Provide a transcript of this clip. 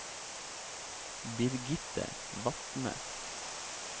Birgitte Vatne